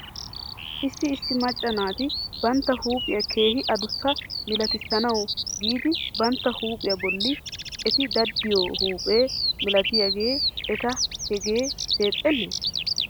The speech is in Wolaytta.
Issi issi macca naati bantta huuphiyaa keehi adussa milatissanawu giidi bantta huuphiyaa bolla eti daddiyoo huuphe milatiyaagee eta hegee deexxenee?